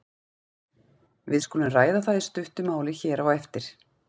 Við skulum ræða það í stuttu máli hér á eftir.